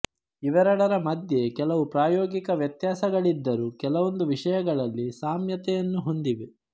ಇವೆರೆಡರ ಮಧ್ಯೆ ಕೆಲವು ಪ್ರಾಯೋಗಿಕ ವ್ಯತ್ಯಾಸಗಳಿದ್ದರೂ ಕೆಲವೊಂದು ವಿಷಯಗಳಲ್ಲಿ ಸಾಮ್ಯತೆಯನ್ನು ಹೊಂದಿವೆ